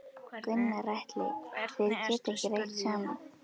Gunnar Atli: Þeir geta ekki rætt saman?